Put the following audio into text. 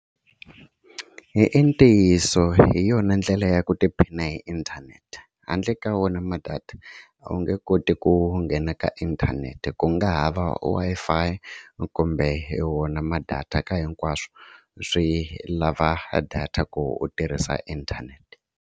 I i ntiyiso hi yona ndlela ya ku tiphina hi inthanete handle ka wona ma-data a wu nge koti ku nghena ka inthanete ku nga ha va Wi-Fi kumbe hi wona ma-data ka hinkwaswo swi lava data ku u tirhisa inthanete.